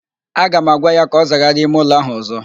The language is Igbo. Aga m agwa ya ka ọ zagharịa ime ụlọ ahụ ọzọ!